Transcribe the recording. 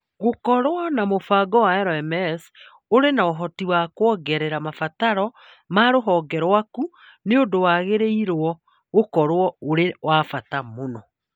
Gũkorũo na mũbango wa LMS ũrĩ na ũhoti wa kũongerera mabataro ma rũhonge rwaku nĩ ũndũ wagĩrĩirũo gũkorũo ũrĩ wa bata mũno.